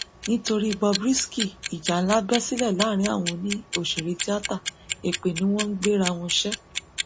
nítorí bob risky ìjà ńlá bẹ sílẹ láàrin àwọn òṣèré tíáta èpè ni wọn ń gbéra wọn ṣe